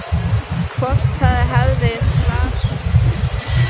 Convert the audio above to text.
Hvort það hefði slasast mikið.